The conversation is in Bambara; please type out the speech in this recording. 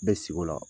Bɛ sigi o la